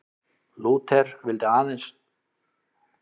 Lúther vildi að aðeins væri vísað til eins kennivalds um trúna, Biblíunnar.